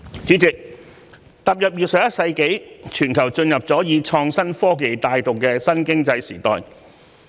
主席，踏入21世紀，全球已進入以創新科技帶動的新經濟時代。